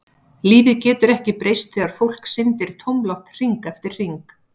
Lífið getur ekki breyst þegar fólk syndir tómlátt hring eftir hring.